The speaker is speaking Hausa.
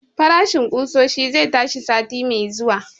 Farashin ƙusoshi zai tashi sati mai zuwa